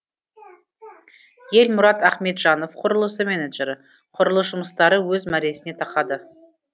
елмұрат ахметжанов құрылыс менеджері құрылыс жұмыстары өз мәресіне тақады